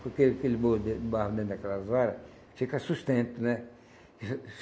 Porque aquele bolo de barro dentro daquelas vara fica sustento, né?